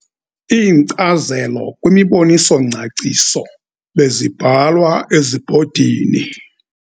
Iinkcazelo kwimiboniso-ngcaciso bezibhalwa ezibhodini.